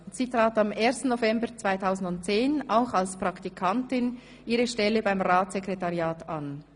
Sie trat am 1. November 2010 auch als Praktikantin ihre Stelle beim Ratssekretariat an.